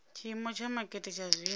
tshiimo tsha makete tsha zwino